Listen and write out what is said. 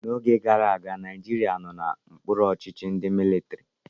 N'oge gara aga, Naijiria nọ n'okpuru ọchịchị ndị mịlịtịrị.